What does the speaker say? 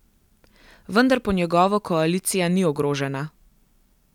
Vendar po njegovo koalicija ni ogrožena.